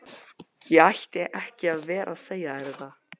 Ég ætti ekki að vera að segja þér þetta.